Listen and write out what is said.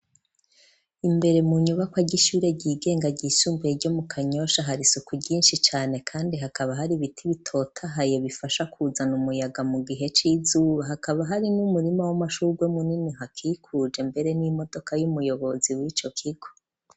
Imbere mu nyubako ry'ishure ry'igenga ryisumbuye ryo mu kanyosha hari suku ryinshi cane kandi hakaba hari ibiti bitotahaye bifasha kuzana umuyaga mu gihe c'izuba hakaba hari nk'umurimo w'amashurwe munini hakikuje mbere n'imodoka y'umuyobozi w'ico kigo.